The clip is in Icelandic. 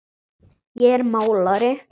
Ég er málari.